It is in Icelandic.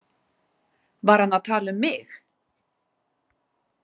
Var hann að tala um mig?